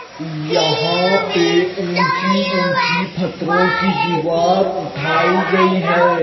यहां पे ऊंची ऊंची फत्रों की दीवार उठाई गई है।